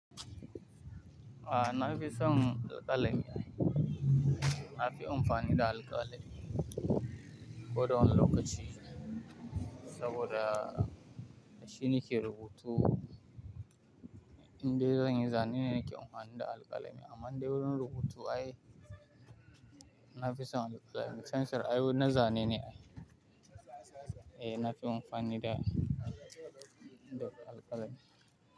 A na fi son da alƙalami. Na fi amfani da alƙalami ko da wani lokaci saboda da shi nake rubutu. In dai zan yi zane ne nake amfani da alƙalami amma dai wurin rubutu ai nafi son alƙalami. Fensir ai na zane ne ai. Eh na fi amfani da alƙalami.